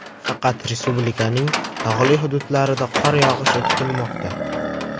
Faqat respublikaning tog‘li hududlarida qor yog‘ishi kutilmoqda.